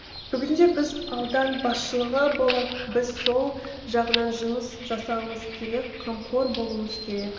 бүгінде біз аудан басшылығы болып біз сол жағынан жұмыс жасауымыз керек қамқор болуымыз керек